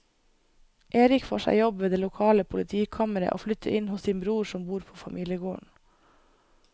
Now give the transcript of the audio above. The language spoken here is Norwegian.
Erik får seg jobb ved det lokale politikammeret og flytter inn hos sin bror som bor på familiegården.